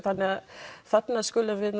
þannig að þarna skulum við